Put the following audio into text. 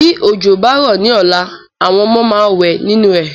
Bí òjò bá rọ ní ọ̀la, àwọn ọmọ máa wẹ ninu ẹ